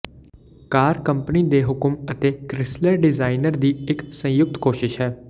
ਕਾਰ company ਦੇ ਹੁਕਮ ਅਤੇ ਕ੍ਰਿਸਲਰ ਡਿਜ਼ਾਈਨਰ ਦੀ ਇੱਕ ਸੰਯੁਕਤ ਕੋਸ਼ਿਸ਼ ਹੈ